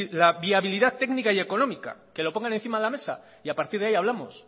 la viabilidad técnica y económica que lo pongan encima de la mesa y a partir de ahí hablamos